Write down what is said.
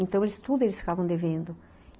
Então, eles tudo eles ficavam devendo.